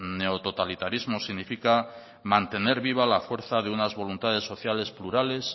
neototalitarismos significa mantener viva la fuerza de unas voluntades sociales plurales